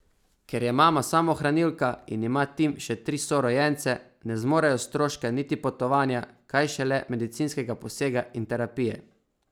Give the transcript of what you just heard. Ker je mama samohranilka in ima Tim še tri sorojence, ne zmorejo stroška niti potovanja, kaj šele medicinskega posega in terapije.